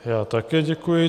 Já také děkuji.